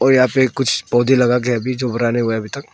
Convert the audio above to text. यहां पर कुछ पौधे लगा के अभी जो बड़ा नहीं हुआ है अभी तक।